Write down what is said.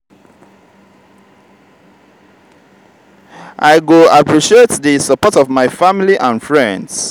i go appreciate di support of my family and friends.